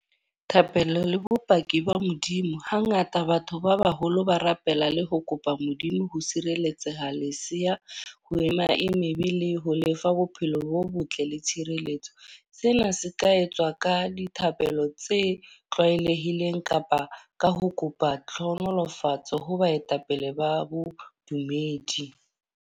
Thapelo le bopaki ba Modimo. Ha ngata batho ba baholo ba rapela le ho kopa Modimo ho sireletseha leseya, ho ema e meya e mebe le ho lefa bophelo bo botle le tshireletso. Sena se ka etswa ka dithapelo tse tlwaelehileng kapa ka ho kopa tlhonolofatso ho baetapele ba bodumedi.